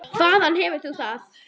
Hvaðan hefur þú það?